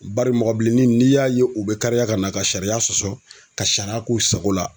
Bari mɔgɔ bilennin n'i y'a ye u bɛ kariya ka na ka sariya sɔsɔ ka sariya k'u sago la.